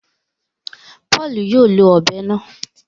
Paulu yóò ló òbé náà